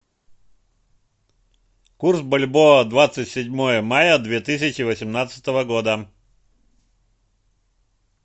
курс бальбоа двадцать седьмое мая две тысячи восемнадцатого года